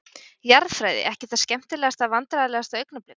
Jarðfræði, ekki það skemmtilegasta Vandræðalegasta augnablik?